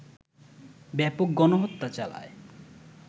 ব্যাপক গণহত্যা চালায়